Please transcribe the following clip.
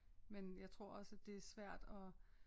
Men jeg tror også at det er svært at